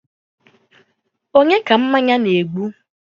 onye ka mmanya na-egbu?